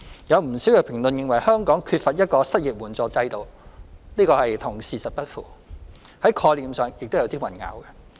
有不少評論認為香港缺乏一個失業援助制度，這與事實不符，在概念上亦有所混淆。